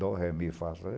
Dó, ré, é meio fácil...